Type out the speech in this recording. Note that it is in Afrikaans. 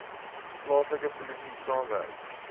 plaaslike polisie saamwerk